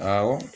Awɔ